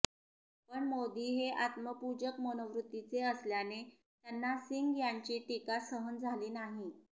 पण मोदी हे आत्मपूजक मनोवृत्तीचे असल्याने त्यांना सिंग यांची टीका सहन झाली नाही